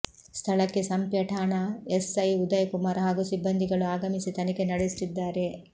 ಸ್ಥಳಕ್ಕೆ ಸಂಪ್ಯ ಠಾಣಾ ಎಸ್ಐ ಉದಯ ಕುಮಾರ್ ಹಾಗೂ ಸಿಬಂದಿಗಳು ಆಗಮಿಸಿ ತನಿಖೆ ನಡೆಸುತ್ತಿದ್ದಾರೆ